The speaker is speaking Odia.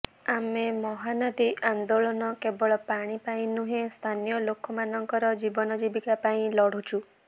ଆମେ ମହାନଦୀ ଆନ୍ଦୋଳନ କେବଳ ପାଣି ପାଇଁ ନୁହେଁ ସ୍ଥାନୀୟ ଲୋକମାନଙ୍କର ଜୀବନଜୀବିକା ପାଇଁ ଲଢ଼ୁଛୁ